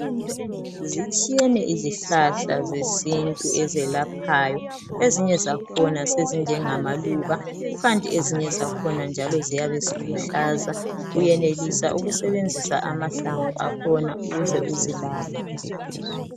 Zitshiyene izihlahla zesintu ezelaphayo ,ezinye zakhona sezinje ngamaluba kukanti ezinye zakhona njalo ziyabe ziluhlaza uyenelisa ukusebenzisa amahlamvu akhona ukuze uzelaphe.